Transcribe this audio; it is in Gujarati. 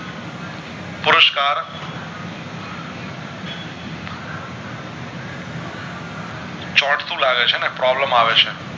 ચોંટતું લાગે છેને problem આવે છે